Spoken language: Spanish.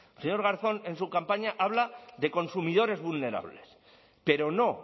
señor garzón en su campaña habla de consumidores vulnerables pero no